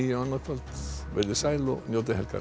annað kvöld veriði sæl og njótið helgarinnar